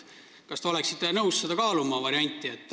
Kas te oleksite nõus kaaluma seda varianti?